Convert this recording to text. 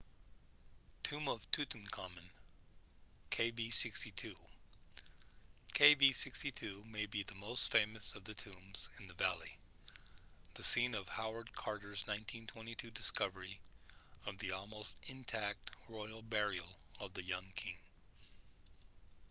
tomb of tutankhamun kv62. kv62 may be the most famous of the tombs in the valley the scene of howard carter's 1922 discovery of the almost intact royal burial of the young king